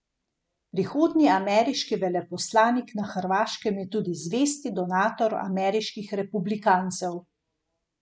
Uspešen študij!